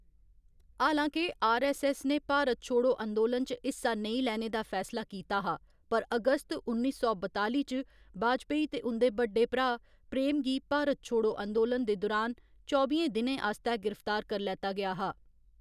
हालांके आरऐस्सऐस्स ने भारत छोड़ो अंदोलन च हिस्सा नेईं लैने दा फैसला कीता हा, पर अगस्त उन्नी सौ बताली च वाजपेयी ते उं'दे बड्डे भ्राऽ प्रेम गी भारत छोड़ो अंदोलन दे दुरान चौबियें दिनें आस्तै गिरफ्तार करी लैता गेआ हा।